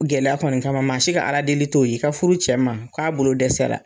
Gɛlɛya kɔni kama maa si ka Ala deli t'o ye k'i ka furu cɛ ma k'a bolo dɛsɛra.